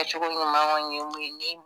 A cogo ɲuman kɔni ye mun ye ni